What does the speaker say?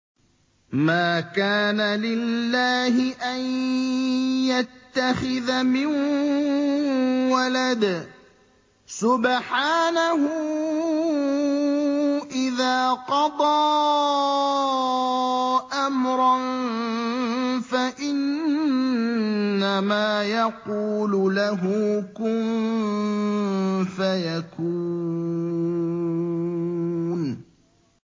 مَا كَانَ لِلَّهِ أَن يَتَّخِذَ مِن وَلَدٍ ۖ سُبْحَانَهُ ۚ إِذَا قَضَىٰ أَمْرًا فَإِنَّمَا يَقُولُ لَهُ كُن فَيَكُونُ